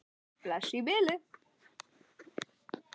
Bless í bili!